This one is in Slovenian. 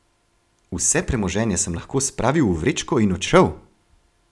Vse premoženje sem lahko spravil v vrečko in odšel!